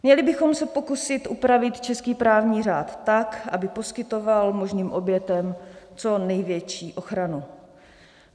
Měli bychom se pokusit upravit český právní řád tak, aby poskytoval možným obětem co největší ochranu.